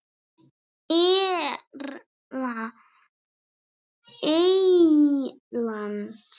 Erla Eyland.